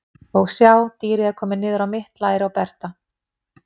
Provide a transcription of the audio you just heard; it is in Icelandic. Og sjá, dýrið er komið niður á mitt læri á Berta.